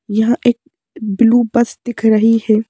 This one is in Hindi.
यहा एक ब्लू बस दिख रही है।